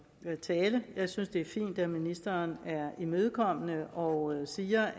tale jeg synes det er fint at ministeren er imødekommende og siger